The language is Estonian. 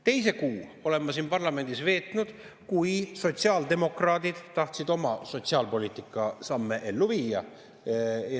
Teise kuu veetsin ma siin parlamendis siis, kui sotsiaaldemokraadid tahtsid oma sotsiaalpoliitika samme ellu viia.